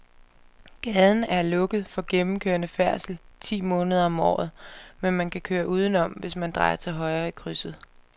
Gaden er lukket for gennemgående færdsel ti måneder om året, men man kan køre udenom, hvis man drejer til højre i krydset.